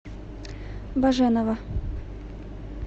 баженова